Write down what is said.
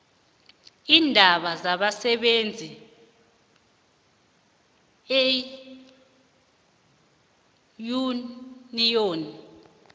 iindaba zabasebenzi iinyuniyoni